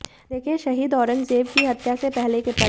देखें शहीद औरंगजेब की हत्या से पहले के पल